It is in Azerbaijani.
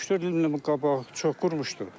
Üç-dörd il qabaq çox qurumuşdu.